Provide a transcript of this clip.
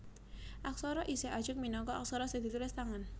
Aksara isih ajeg minangka aksara sing ditulis tangan